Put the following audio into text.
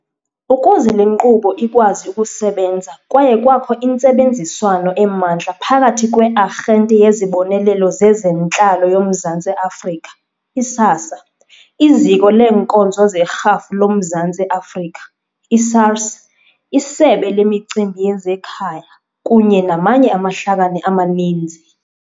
Ukuze le nkqubo ikwazi ukusebenza kwaye kwakho intsebenziswano emandla phakathi kwe-Arhente yeziBonelelo zezeNtlalo yoMzantsi Afrika, i-SASSA, iZiko leeNkonzo zeRhafu loMzantsi Afrika, i-SARS, iSebe leMicimbi yezeKhaya, kunye namanye amahlakani amaninzi.